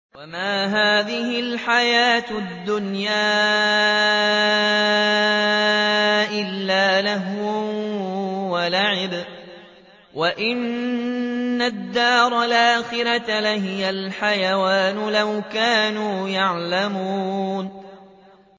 وَمَا هَٰذِهِ الْحَيَاةُ الدُّنْيَا إِلَّا لَهْوٌ وَلَعِبٌ ۚ وَإِنَّ الدَّارَ الْآخِرَةَ لَهِيَ الْحَيَوَانُ ۚ لَوْ كَانُوا يَعْلَمُونَ